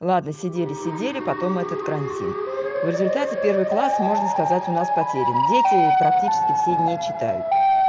ладно сидели сидели потом этот карантин в результате первый класс можно сказать у нас потерян дети практически все не читают